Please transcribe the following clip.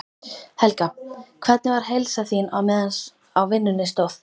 Helga: Hvernig var heilsan þín á meðan á vinnunni stóð?